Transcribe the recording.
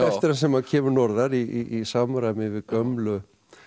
sem hann kemur norðar í samræmi við gömlu